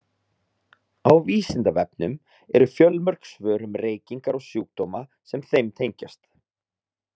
Á Vísindavefnum eru fjölmörg svör um reykingar og sjúkdóma sem þeim tengjast.